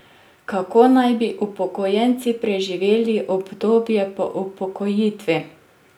Kako naj bi upokojenci preživeli obdobje po upokojitvi?